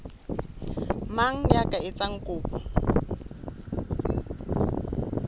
mang ya ka etsang kopo